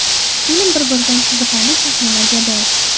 Film bir-biridan qiziqarli sahnalarga boy.